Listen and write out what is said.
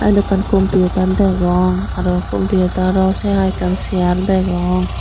eyod ekkan computer degong aro computero say hai ekkan sayir degong.